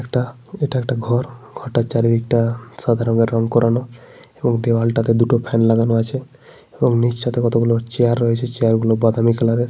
একটা এটা একটা ঘর। ঘরটার চারিদিকটা সাদা রঙের রং করানো। এবং দেওয়ালটাতে দুটো ফ্যান লাগানো আছে। এবং নীচটাতে কতগুলো চেয়ার রয়েছে। চেয়ার গুলো বাদামি কালারের ।